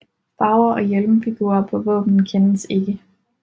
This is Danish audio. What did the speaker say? Farver og hjelmfigurer på våbenet kendes ikke